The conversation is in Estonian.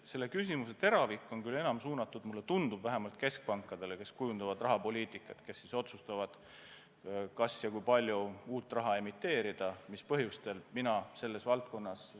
Selle küsimuse teravik on küll suunatud, mulle tundub vähemalt, keskpankadele, kes kujundavad rahapoliitikat, kes otsustavad, kui palju uut raha emiteerida, mis põhjustel, ja kas üldse emiteerida.